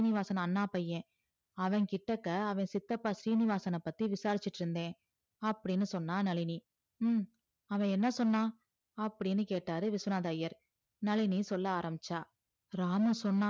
அவன் கிட்டக்க அவன் சித்தப்பா சீனிவாசன பத்தி விசாரிச்சிட்டு இருந்த அப்படின்னு சொன்னா நழினி ஹம் அவன் என்ன சொன்னா அப்டின்னு கேட்டாரு விஸ்வநாதர் ஐயர் நழினி சொல்ல ஆரம்பிச்சா ராம சொன்னா